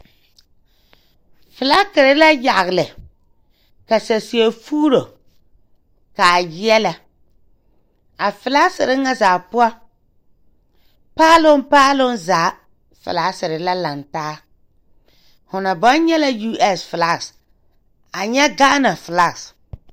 Flakire la yagle ka saseɛ fuuro kaa yeɛɛlɛ a flaasire ŋa zaa poɔ paaloŋ paaloŋ zaa flaasire la laŋtaa fo naŋ baŋ nyɛ la us flak a nyu gaana flak.